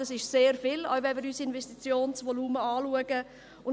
Das ist sehr viel, auch wenn wir unser Investitionsvolumen anschauen.